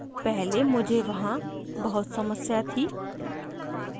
पहले मुझे वहाँ बहुत समस्या थी